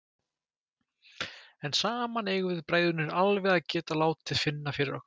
En saman eigum við bræðurnir alveg að geta látið finna fyrir okkur.